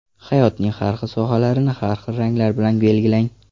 Hayotning har xil sohalarini har xil ranglar bilan belgilang.